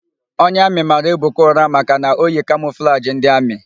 Onye amị mara Ebuka ụra maka na o yi kamọflajị ndị amị.